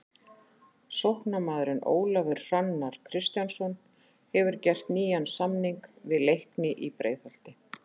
Sóknarmaðurinn Ólafur Hrannar Kristjánsson hefur gert nýjan samning við Leikni í Breiðholti.